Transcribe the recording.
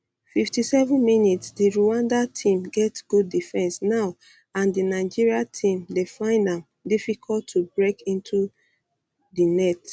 57mins di rwanda tam get good defence now and di nigeria team dey find am um difficult to break into di into di net